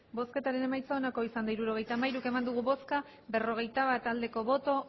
hirurogeita hamairu eman dugu bozka berrogeita bat bai